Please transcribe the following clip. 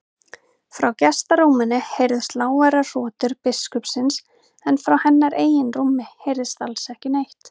Frá gestarúminu heyrðust lágværar hrotur biskupsins en frá hennar eigin rúmi heyrðist alls ekki neitt.